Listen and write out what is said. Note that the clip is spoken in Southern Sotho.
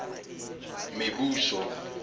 mebuso